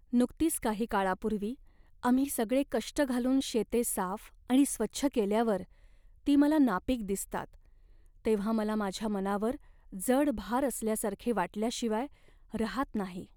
नुकतीच काही काळापूर्वी आम्ही सगळे कष्ट घालून शेते साफ आणि स्वच्छ केल्यावर ती मला नापीक दिसतात तेव्हा मला माझ्या मनावर जड भार असल्यासारखे वाटल्याशिवाय रहात नाही.